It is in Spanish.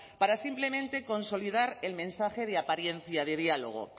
para simplemente consolidar el mensaje de apariencia de diálogo